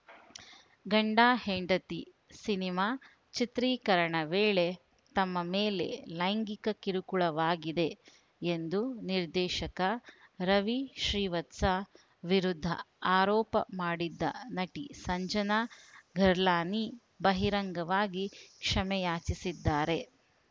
ಗಂಡಹೆಂಡತಿ cinema ಚಿತ್ರೀಕರಣ ವೇಳೆ ತಮ್ಮ ಮೇಲೆ ಲೈಂಗಿಕ ಕಿರುಕುಳವಾಗಿದೆ ಎಂದು ನಿರ್ದೇಶಕ ರವಿ ಶ್ರೀವತ್ಸ ವಿರುದ್ಧ ಆರೋಪ ಮಾಡಿದ್ದ ನಟಿ ಸಂಜನಾ ಗಲ್ರಾನಿ ಬಹಿರಂಗವಾಗಿ ಕ್ಷಮೆಯಾಚಿಸಿದ್ದಾರೆ